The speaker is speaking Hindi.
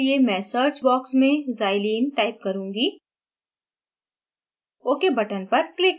प्रदर्शन के लिए मैं search box में xylene type करुँगी